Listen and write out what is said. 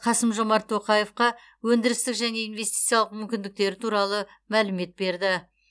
қасым жомарт тоқаевқа өндірістік және инвестициялық мүмкіндіктері туралы мәлімет берді